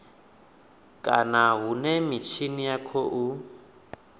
kana hune mitshini ya khou